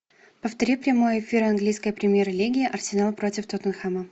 повтори прямой эфир английской премьер лиги арсенал против тоттенхэма